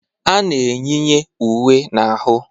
A na-eyinye uwe n'ahụ.